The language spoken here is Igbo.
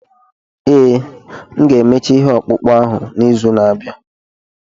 Ee, m ga-emecha ihe ọkpụkpụ ahụ n'izu na-abịa.